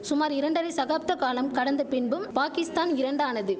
சுமார் இரண்டரை சகாப்த காலம் கடந்த பின்பும் பாகிஸ்தான் இரண்டானது